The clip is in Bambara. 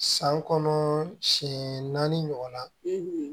San kɔnɔ siɲɛ naani ɲɔgɔnna